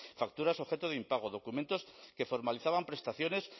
facturas objeto de impago documentos que formalizaban prestaciones